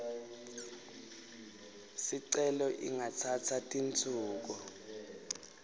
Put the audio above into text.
sicelo ingatsatsa tinsuku